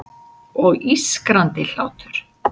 Og ískrandi hlátur.